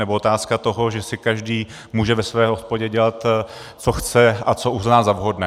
Nebo otázka toho, že si každý může ve své hospodě dělat, co chce a co uzná za vhodné.